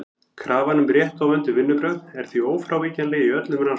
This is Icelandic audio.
Krafan um rétt og vönduð vinnubrögð er því ófrávíkjanleg í öllum rannsóknum.